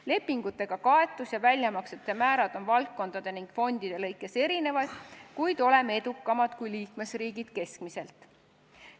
Lepingutega kaetus ja väljamaksete määrad on valdkondade ja fondide kaupa erinevad, kuid oleme edukamad kui liikmesriigid keskmiselt.